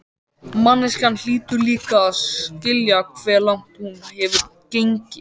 Manneskjan hlýtur líka að skilja hve langt hún hefur gengið.